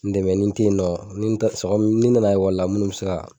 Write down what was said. N dɛmɛen tɛ ni t'e yen nɔ ni n taarala minnu siran